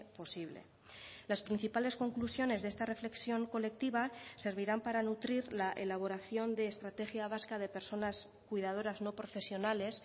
posible las principales conclusiones de esta reflexión colectiva servirán para nutrir la elaboración de estrategia vasca de personas cuidadoras no profesionales